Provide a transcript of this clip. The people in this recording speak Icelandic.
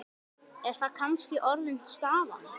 Er það kannski orðin staðan?